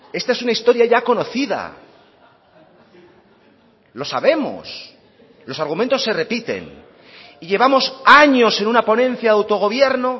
esta es una historia ya conocida lo sabemos los argumentos se repiten y llevamos años en una ponencia de autogobierno